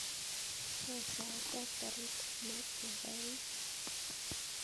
Koi sait ap karit ap maat kepa ui